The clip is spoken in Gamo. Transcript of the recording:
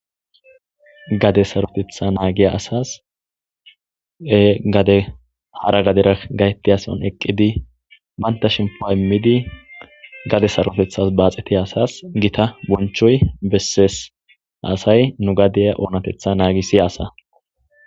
Gade sarotetha naagiya asas e gade hara gadera gayti ason eqqidi baynta shempo immidi gade sarotethas baaxetiy asas gita bonchoy bessees asay nu gadeya oonatetha naagi siya asa.